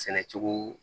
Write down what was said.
Sɛnɛ cogo